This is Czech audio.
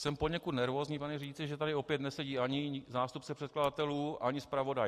Jsem poněkud nervózní, pane řídící, že tady opět nesedí ani zástupce předkladatelů ani zpravodaj.